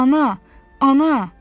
Ana, ana!